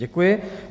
Děkuji.